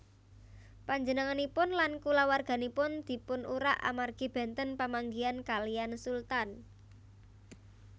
Panjenenganipun lan kulawarganipun dipunurak amargi benten pamanggihan kaliyan Sultan